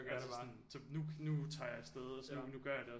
Nu nu tager jeg afsted nu gør jeg noget